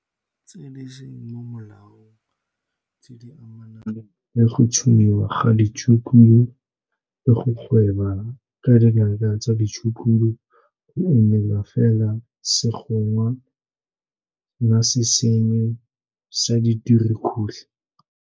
Ditiragalo tse di seng mo molaong tse di amanang le go tsomiwa ga ditshukudu le go gweba ka dinaka tsa ditshukudu go ungwela fela segongwa na se sennye sa dirukhutlhi.